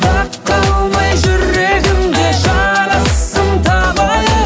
дақ қалмай жүрегіңде жарасым табайық